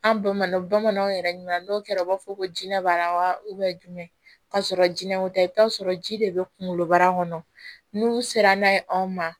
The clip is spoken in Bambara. An bamananw bamananw yɛrɛ ɲuman n'o kɛra u b'a fɔ ko jinɛ b'a la wa jumɛn ka sɔrɔ jinɛw tɛ i bɛ t'a sɔrɔ ji de bɛ kunkolobara kɔnɔ n'u sera n'a ye anw ma